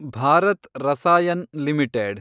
Bharat Rasayan limited